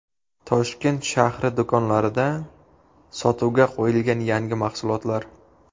Toshkent shahri do‘konlarida sotuvga qo‘yilgan yangi mahsulotlar.